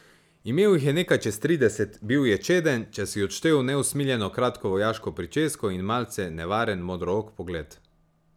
Imel jih je nekaj čez trideset, bil je čeden, če si odštel neusmiljeno kratko vojaško pričesko, in malce nevaren modrook pogled.